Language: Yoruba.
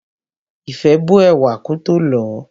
Ìfẹ́ bó ẹ̀wà kótó lọ̀ọ́.